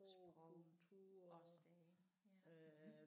Sprog også det ja